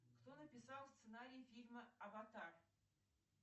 кто написал сценарий фильма аватар